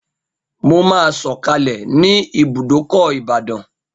Mo máa sọ̀kalẹ̀ ní ibùdókọ̀ ìbàdàn